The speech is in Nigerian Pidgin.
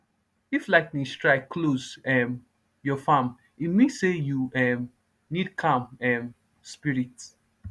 if lightning strike close um your farm e mean say you um need calm um spirits